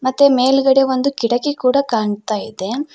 ಮತ್ತೆ ಮೇಲ್ಗಡೆ ಒಂದು ಕಿಟಕಿ ಕೂಡ ಕಾಣ್ತಾ ಇದೆ.